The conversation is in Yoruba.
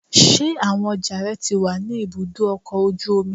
Ṣé àwọn ọjà rẹ ti wà ní ibùdó ọkọ̀ ojú omi?